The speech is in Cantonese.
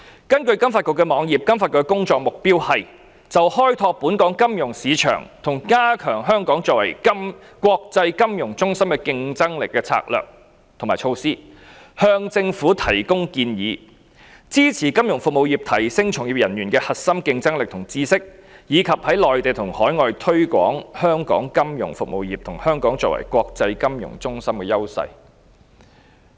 根據金發局網頁，它的工作目標是 ：1 就開拓本港金融市場和加強香港作為國際金融中心的競爭力的策略和措施，向政府提供建議 ；2 支持金融服務業提升從業人員的核心競爭力和知識；及3在內地和海外推廣香港金融服務業和香港作為國際金融中心的優勢。